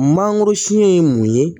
Mangoro siyɛn ye mun ye